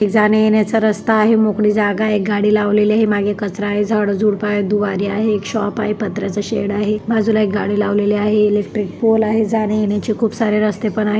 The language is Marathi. ही जाण्यायेण्याचा रस्ता आहे. मोकळी जागा आहे. एक गाडी लावलेली आहे. मागे कचरा आहे. झाडं झुडपं आहे. दोवारी आहे. एक शॉप आहे. पत्र्याचा शेड आहे. बाजूला एक गाडी लावलेली आहे. इलेक्ट्रिक पोल आहे. जाणेयेण्याची खूप सारे रस्ते पण आहेत.